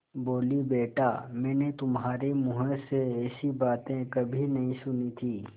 बोलीबेटा मैंने तुम्हारे मुँह से ऐसी बातें कभी नहीं सुनी थीं